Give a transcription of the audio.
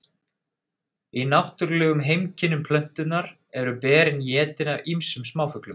Í náttúrulegum heimkynnum plöntunnar eru berin étin af ýmsum smáfuglum.